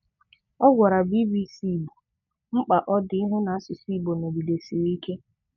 Ọ gwara BBC Igbo mkpa ọ dị ịhụ na asụsụ Igbo nọgidesiri ike.